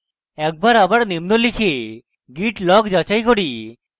একবার আবার নিম্ন লিখে git log যাচাই করি